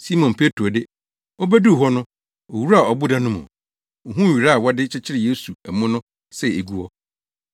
Simon Petro de, obeduu hɔ no, owuraa ɔboda no mu. Ohuu nwera a wɔde kyekyeree Yesu amu no sɛ egu hɔ,